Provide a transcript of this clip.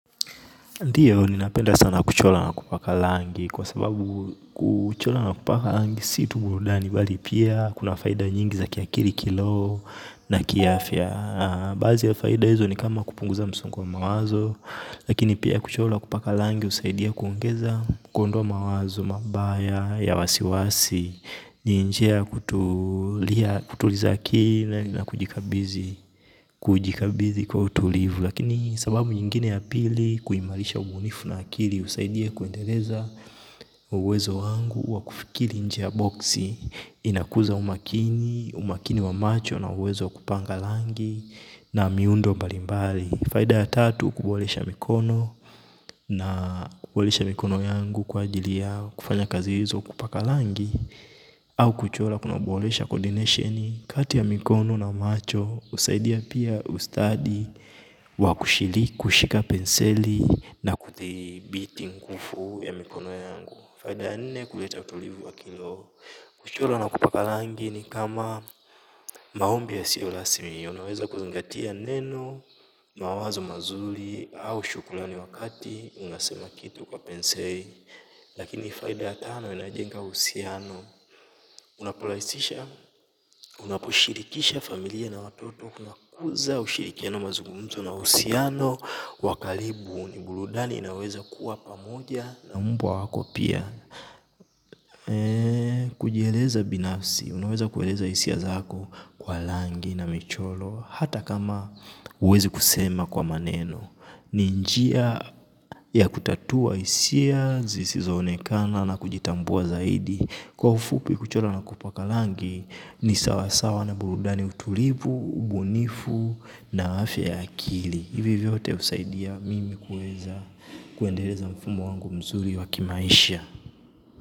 Ndiyo, ninapenda sana kuchora na kupaka rangi, kwa sababu kuchora na kupaka rangi si tu burudani, bali pia kuna faida nyingi za kiakili kiroho na kiafya. Baadhi ya faida hizo ni kama kupunguza msongo wa mawazo, lakini pia kuchora na kupaka rangi husaidia kuongeza kuondoa mawazo, mabaya, ya wasiwasi, ni njia kutuliza akili na kujikabidhi kwa utulivu. Lakini sababu nyingine ya pili kuimarisha ubunifu na akili husaidia kuendeleza uwezo wangu wa kufikiri nje ya boksi inakuza umakini, umakini wa macho na uwezo wa kupanga rangi na miundo mbalimbali. Faida ya tatu kuboresha mikono na kuboresha mikono yangu kwa ajili yao kufanya kazi hizo kupaka rangi. Au kuchora kuna uboresha coordinationi kati ya mikono na macho husaidia pia ustadi wa kushili kushika penseli na kudhibiti nguvu ya mikono yangu. Faida ya nne kuleta utulivu wa kiroho. Kuchora na kupaka rangi ni kama maombi yasiyo rasmi. Unaweza kuzingatia neno, mawazo mazuri au shukrani wakati unasema kitu kwa penseli. Lakini faida ya tano inayojenga uhusiano. Unaporahisisha, unaposhirikisha familia na watoto. Unakuza ushirikiano mazungumzo na uhusiano wa karibu ni burudani inayoweza kuwa pamoja na mbwa wako pia. Kujieleza binafsi, unaweza kueleza hisia zako kwa rangi na michoro. Hata kama huwezi kusema kwa maneno. Ni njia ya kutatua hisia, zisizoonekana na kujitambua zaidi. Kwa ufupi kuchora na kupaka rangi ni sawa sawa na burudani utulivu ubunifu na afya ya akili hivyo vyote husaidia mimi kuweza kuendeleza mfumo wangu mzuri wa kimaisha.